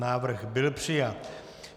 Návrh byl přijat.